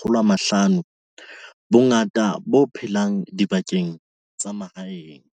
500, bongata bo phela dibakeng tsa mahaeng.